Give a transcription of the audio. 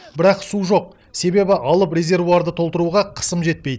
бірақ су жоқ себебі алып резервуарды толтыруға қысым жетпейді